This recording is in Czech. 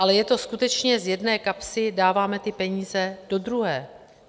Ale je to skutečně - z jedné kapsy dáváme ty peníze do druhé.